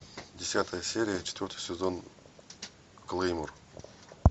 десятая серия четвертый сезон клеймор